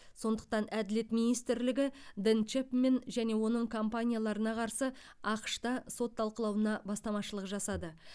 сондықтан әділет министрлігі дэн чэпмен және оның компанияларына қарсы ақш та сот талқылауына бастамашылық жасады